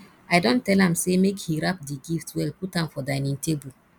i don tell am say make he wrap the gift well put am for dinning table